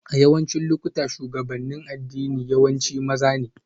A yawancin lokuta, shugabannin addini yawanci maza ne